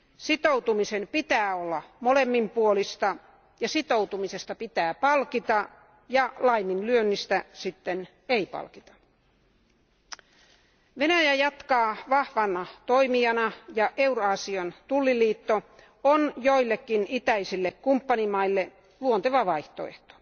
Sitoutumisen pitää olla molemminpuolista, ja sitoutumisesta pitää palkita ja laiminlyönnistä taas ei. Venäjä jatkaa vahvana toimijana, ja Euraasian tulliliitto on joillekin itäisille kumppanimaille luonteva vaihtoehto.